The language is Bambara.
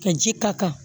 Ka ji ka kan